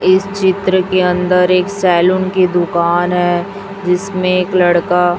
इस चित्र के अंदर एक सेलून की दुकान है जिसमें एक लड़का--